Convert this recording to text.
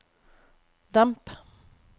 demp